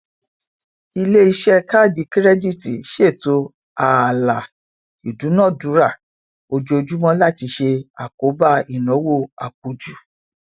iléiṣẹ káàdì kírẹdììtì ṣètò ààlà ìdúnàdúrá ojoojúmọ láti ṣe àkóbá ináwó àpùjú